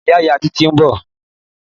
Ìyá ìyá Titi n bò